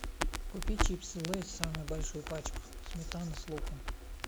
купи чипсы лейс самую большую пачку сметана с луком